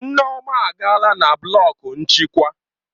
Nneoma agaala na blọku nchịkwa